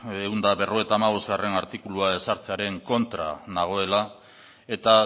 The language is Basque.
ehun eta berrogeita hamabostgarrena artikulua ezartzearen kontra nagoela eta